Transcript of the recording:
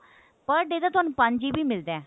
per day ਦਾ ਤੁਹਾਨੂੰ ਪੰਜ GB ਮਿਲਦਾ